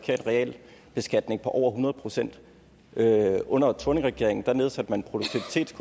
realbeskatning på over hundrede procent under thorningregeringen nedsatte man